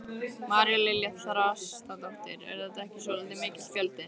María Lilja Þrastardóttir: Er þetta ekki svolítið mikill fjöldi?